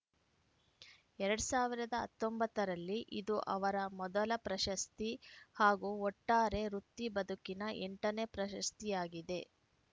ಎರಡ್ ಸಾವಿರದ ಹತ್ತೊಂಬತ್ತ ರಲ್ಲಿ ಇದು ಅವರ ಮೊದಲ ಪ್ರಸಸ್ತಿ ಹಾಗೂ ಒಟ್ಟಾರೆ ವೃತ್ತಿ ಬದುಕಿನ ಎಂಟನೇ ಪ್ರಶಸ್ತಿಯಾಗಿದೆ